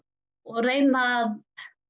og reyna